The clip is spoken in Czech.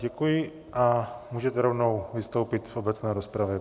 Děkuji a můžete rovnou vystoupit v obecné rozpravě.